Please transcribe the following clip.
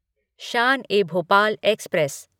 Shaan e Bhopal express